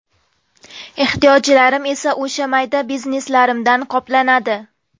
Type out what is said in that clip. Ehtiyojlarim esa o‘sha mayda bizneslarimdan qoplanadi.